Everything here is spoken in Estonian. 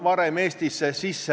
Hirmuga te ei saavuta mitte midagi.